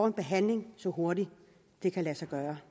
en behandling så hurtigt det kan lade sig gøre